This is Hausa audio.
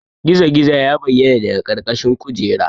Gizo-gizo ya bayyana daga ƙarƙashin kujera.